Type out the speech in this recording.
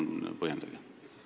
Palun põhjendage!